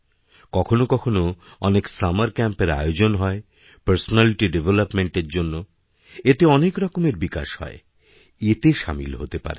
কখনো কখনো অনেক সামারক্যাম্পএর আয়োজন হয় পার্সোনালিটিডেভলপমেন্ট এরজন্য এতে অনেক রকমের বিকাশ হয় এতে সামিল হতে পারেন